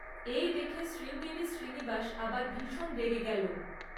এই দেখে শ্রীঙ্গেরি শ্রীনিবাস আবার ভীষণ রেগে গেল।